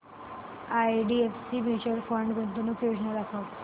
IDFC mutual fund गुंतवणूक योजना दाखव